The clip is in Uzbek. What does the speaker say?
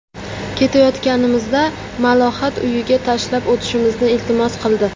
Ketayotganimizda Malohat uyiga tashlab o‘tishimizni iltimos qildi.